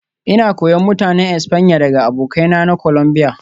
Ina koyon Mutanen Espanya daga abokaina na Colombia